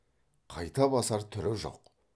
қайта басар түрі жоқ